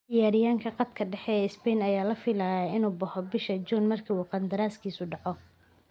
Ciyaaryahanka khadka dhexe ee Spain ayaa la filayaa inuu baxo bisha June marka uu qandaraaskiisu dhaco.